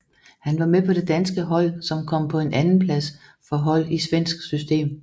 Han var med på det danske hold som kom på en andenplads for hold i svensk system